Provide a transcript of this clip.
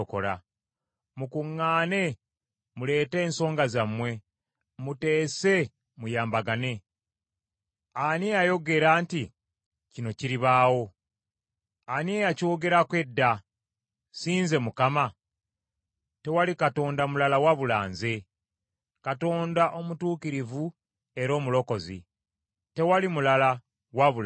Mukuŋŋaane muleete ensonga zammwe. Muteese muyambagane. Ani eyayogera nti kino kiribaawo? Ani eyakyogerako edda? Si nze Mukama ? Tewali Katonda mulala wabula nze, Katonda omutuukirivu era Omulokozi, tewali mulala wabula nze.